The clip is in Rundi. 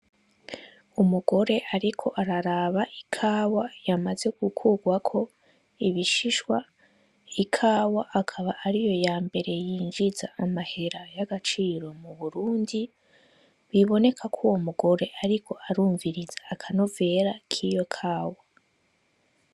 Umugore ariko araraba ikawa yamaze gukugwako ibishishwa, ikawa akaba ariyo yambere yinjiza amahera y'agaciro mu Burundi, biboneka ko uyo mugore ariko arumviriza akanovera kiyo kawa.